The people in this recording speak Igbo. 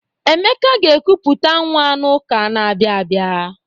Emeka ga-ekuputa nwa n'ụka na-abịa abịa.